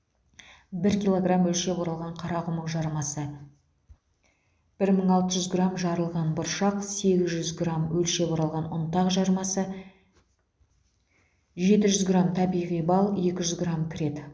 бір килограмм өлшеп оралған қарақұмық жармасы бір мың алты жүз грамм жарылған бұршақ сегіз жүз грамм өлшеп оралған ұнтақ жармасы жеті жүз грамм табиғи бал екі жүз грамм кіреді